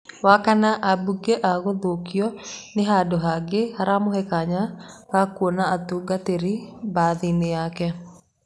Wakana, abunge a gũthukio, nĩ-handu hangĩ haramũhe kanya gakuona atungatĩri mbathainĩ yake.